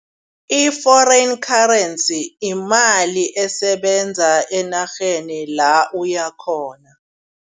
I-foreign currency yimali esebenza enarheni la uyakhona.